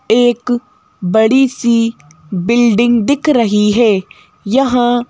एक बड़ी सी बिल्डिंग दिख रही है यहा--